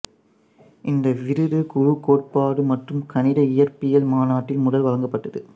்இந்த விருது குழு கோட்பாடு மற்றும் கணித இயற்பியலில் மாநாட்டில் முதல் வழங்கப்பட்டது